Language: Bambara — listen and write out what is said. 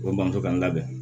Ko bamuso k'an ka bɛn